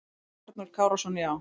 Arnór Kárason: Já.